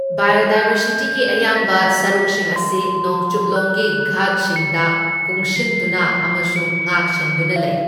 ꯕꯥꯏꯑꯣꯗꯥꯏꯕꯔꯁꯤꯇꯤꯒꯤ ꯑꯌꯥꯝꯕ ꯁꯔꯨꯛꯁꯤꯡ ꯑꯁꯤ ꯅꯣꯡꯆꯨꯞꯂꯣꯝꯒꯤ ꯘꯥꯠꯁꯤꯡꯗ ꯀꯨꯡꯁꯤꯟꯗꯨꯅ ꯑꯃꯁꯨꯡ ꯉꯥꯛ ꯁꯦꯟꯗꯨꯅ ꯂꯩ꯫